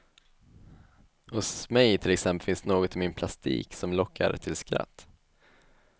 Hos mig till exempel finns något i min plastik som lockar till skratt.